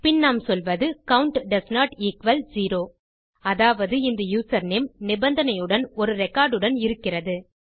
பின் நாம் சொல்வது count doesn't equal zero அதாவது இந்த யூசர்நேம் நிபந்தனையுடன் ஒரு ரெக்கார்ட் உடன் இருக்கிறது